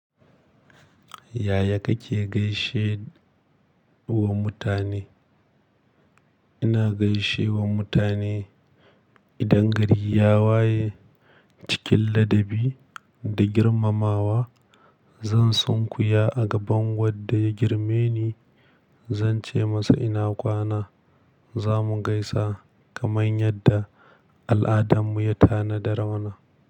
Yaya kake gaishe wa mutane? Ina gaishe wa mutane idan gari ya waye cikin ladabi da girmamawa. Zan sunkuya a gaban wadda ya girme ni, zan ce masa ina kwana, zamu gaisa kamar yadda al'adarmu ya tanadar mana.